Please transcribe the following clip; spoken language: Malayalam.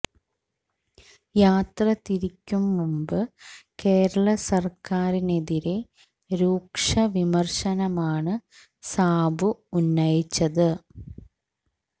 യാത്ര തിരിക്കും മുന്പ് കേരള സര്ക്കാരിനെതിരേ രൂക്ഷ വിമര്ശനമാണ് സാബു ഉന്നയിച്ചത്